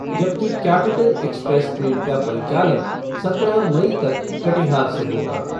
जबकि capital express train का परिचालन सत्रह मई तक कटिहार से होगा।